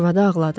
Arvadı ağladı.